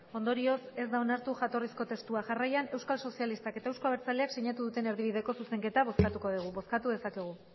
ondorioz ez da onartu jatorrizko testua jarraian euskal sozialistak eta euzko abertzaleak sinatu duten erdibideko zuzenketa bozkatuko dugu bozkatu dezakegu